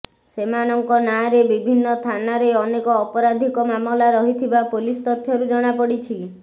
ସେମାନଙ୍କ ନାଁରେ ବିଭିନ୍ନ ଥାନାରେ ଅନେକ ଅପରାଧିକ ମାମଲା ରହିଥିବା ପୋଲିସ ତଥ୍ୟରୁ ଜଣାପଡ଼ିଛି